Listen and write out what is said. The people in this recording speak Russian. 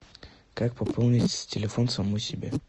как пополнить телефон самому себе